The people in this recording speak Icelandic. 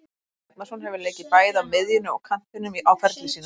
Birkir Bjarnason hefur leikið bæði á miðjunni og kantinum á ferli sínum.